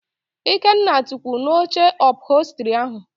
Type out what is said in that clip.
Ikenna tukwụ n'oche ụphọlstri ahụ